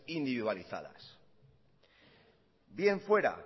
individualizadas bien fuera